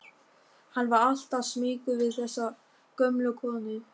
Hann var alltaf smeykur við þessa gömlu konu.